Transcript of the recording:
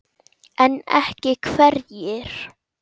En ekki hverjir?